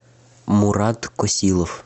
мурат косилов